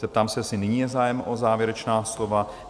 Zeptám se, jestli nyní je zájem o závěrečná slova?